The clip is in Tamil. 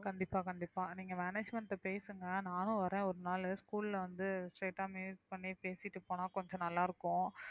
கண்டிப்பா கண்டிப்பா நீங்க management ட்ட பேசுங்க நானும் வர்றேன் ஒரு நாளு school ல வந்து straight ஆ meet பண்ணி பேசிட்டு போனா கொஞ்சம் நல்லா இருக்கும்